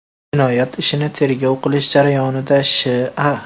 Jinoyat ishini tergov qilish jarayonida Sh.A.